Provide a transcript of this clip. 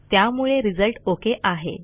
त्यामुळे result okay आहे